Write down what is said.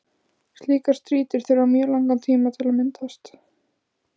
Slíkar strýtur þurfa mjög langan tíma til að myndast.